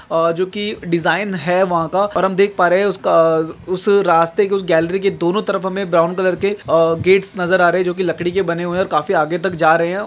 अ जो की डिजाइन है वहां का और हम देख पा रहे हैं उसका उस अह उस रास्ते के उस गैलरी के दोनों तरफ हमें ब्राउन कलर के अ गेट्स नजर आ रहे हैं जो की लकड़ी के बने हुए हैं और काफी आगे तक जा रहे हैं।